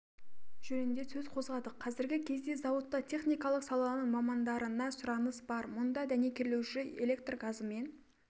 жөнінде сөз қозғадық қазіргі кезде зауытта техникалық саланың мамандарына сұраныс бар мұнда дәнекерлеуші электр газымен